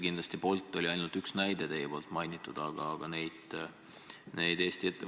Bolt oli ju ainult üks näide, mida te mainisite.